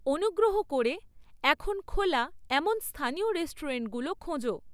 অনুগ্রহ করে এখন খোলা এমন স্থানীয় রেষ্টুরেন্টগুলো খোঁজো